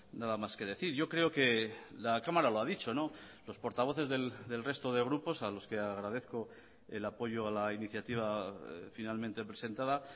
nada más que decir yo creo que la cámara lo ha dicho los portavoces del resto de grupos a los que agradezco el apoyo a la iniciativa finalmente presentada